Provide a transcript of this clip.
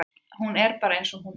Hún er bara eins og hún er.